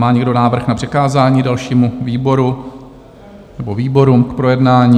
Má někdo návrh na přikázání dalšímu výboru nebo výborům k projednání?